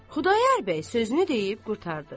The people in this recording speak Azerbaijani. Xudayar bəy sözünü deyib qurtardı.